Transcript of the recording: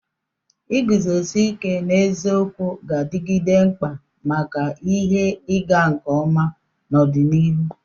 Iguzosi ike n'eziokwu ga-adigide mkpa maka ihe ịga nke ọma n'ọdịnihu.